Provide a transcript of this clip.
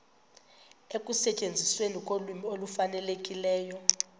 ekusetyenzisweni kolwimi olufanelekileyo